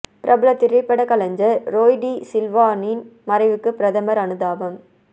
பிரபல திரைப்படக் கலைஞர் ரோய் டி சில்வாவின் மறைவுக்கு பிரதமர் அனுதாபம்